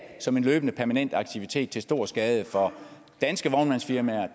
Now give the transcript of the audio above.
som en løbende permanent aktivitet til stor skade for danske vognmandsfirmaer